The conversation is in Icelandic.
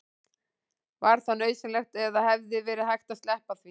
var það nauðsynlegt eða hefði verið hægt að sleppa því